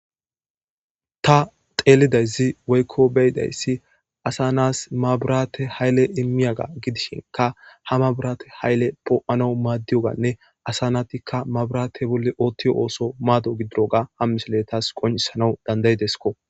Ta xeelidayssi woykko beydayssi asa nas maburaate hayile immiyaga gidishinkka ha mabirate haylle poo'anaw maaddiyoganne asa nattikka mabiraate bolli oottiyo ooso maado gididoga ha misiley taas qonccisanaw danddayideskko